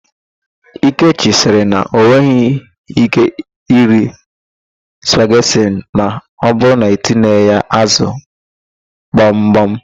Ekechi sịrị na o nweghị íké iri spaget ma ọbụrụ na etinyeghị ya ázụ̀ gbamgbam.